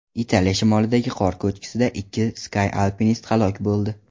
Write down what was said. Italiya shimolidagi qor ko‘chkisida ikki ski-alpinist halok bo‘ldi.